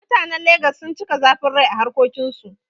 Mutanen Lagos sun cika zafin rai a harƙokin su